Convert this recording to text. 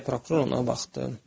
Deyə prokuror ona baxdı.